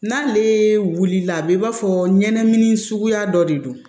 N'ale wulila a bɛ i b'a fɔ ɲɛnɛmini suguya dɔ de don